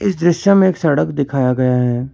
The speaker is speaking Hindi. इस दृश्य में एक सड़क दिखाया गया है।